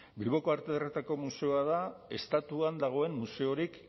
bilboko arte ederretako museoa da estatuan dagoen museorik